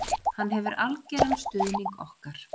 Hann hefur algjöran stuðning okkar